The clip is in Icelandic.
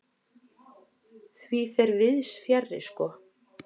Því fer víðs fjarri sko.